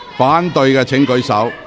反對的請舉手。